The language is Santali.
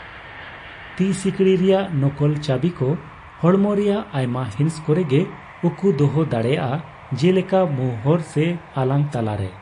ᱛᱤ ᱥᱤᱠᱲᱤ ᱨᱮᱭᱟᱜ ᱱᱚᱠᱚᱞ ᱪᱟᱹᱵᱤᱠᱚ ᱦᱚᱲᱢᱚ ᱨᱮᱭᱟᱜ ᱟᱭᱢᱟ ᱦᱤᱸᱥ ᱠᱚᱨᱮ ᱜᱮ ᱩᱠᱩ ᱫᱚᱦᱚ ᱫᱟᱲᱮᱭᱟᱜᱼᱟ, ᱡᱮᱞᱮᱠᱟ ᱢᱩ ᱦᱚᱨ ᱥᱮ ᱟᱞᱟᱝ ᱞᱟᱛᱟᱨ ᱨᱮ ᱾